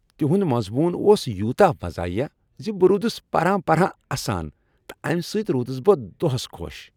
تہند مضمون اوس یوتاہ مزاحیہ ز بہ رُودس پران پران اسان تہٕ امہ سۭتۍ رودس بہٕ دۄہس خۄش۔